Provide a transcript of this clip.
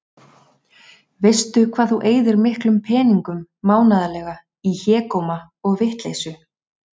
Veistu hvað þú eyðir miklum peningum mánaðarlega í hégóma og vitleysu?